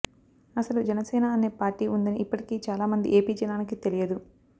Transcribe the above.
అసలు జనసేన అనే పార్టీ ఉందని ఇప్పటికీ చాలా మంది ఏపీ జనానికి తెలియదు